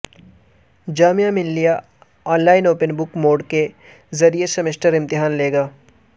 جامعہ Millia online open book mode کے ذریعہ semester امتحان لے گا